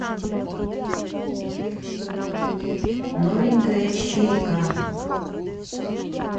новенькая четыре ка